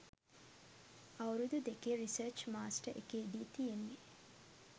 අවුරුදු දෙකේ research master එකේදි තියෙන්නෙ